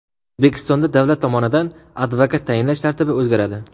O‘zbekistonda davlat tomonidan advokat tayinlash tartibi o‘zgaradi.